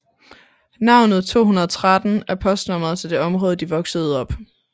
Navnet 213 er postnummeret til det område de voksede op